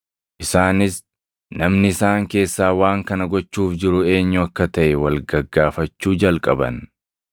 Isaanis namni isaan keessaa waan kana gochuuf jiru eenyu akka taʼe wal gaggaafachuu jalqaban.